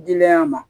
Dili ya ma